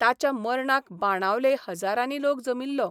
ताच्या मर्णाक बाणावले हजारांनी लोक जमिल्लो.